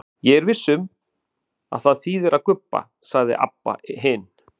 Ég er viss um að það þýðir að gubba, sagði Abba hin.